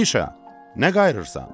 Mişa, nə qayırırısan?